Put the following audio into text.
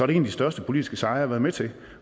det en af de største politiske sejre været med til